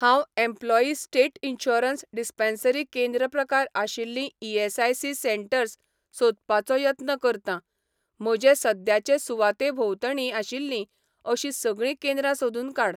हांव employee state insurance dispensary केंद्र प्रकार आशिल्लीं ईएसआयसी सेंटर्स सोदपाचो यत्न करतां, म्हजे सद्याचे सुवाते भोंवतणी आशिल्लीं अशीं सगळीं केंद्रां सोदून काड